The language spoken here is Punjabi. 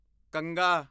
ਕੰਘਾ